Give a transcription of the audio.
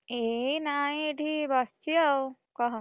ଏଇ ନାଇଁ ଏଇଠି ବସିଛି, ଆଉ, କହ।